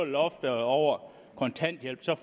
loftet over kontanthjælp så